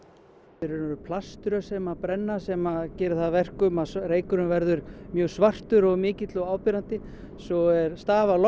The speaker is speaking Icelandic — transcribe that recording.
og veru plaströr sem brenna sem gerir það að verkum að reykurinn verður mjög svartur og mikill og áberandi svo er stafalogn